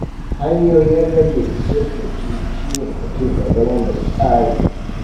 Hanyoyin rage shirɓici shi ne mutum ya zama mai tsari.